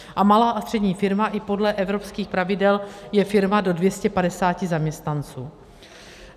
A malá a střední firma i podle evropských pravidel je firma do 250 zaměstnanců.